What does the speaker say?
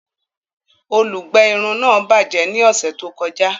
Olùgbé irun náà bajẹ ní ọsẹ tó kọjá